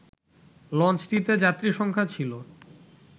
লঞ্চটিতে যাত্রীসংখ্যা ছিল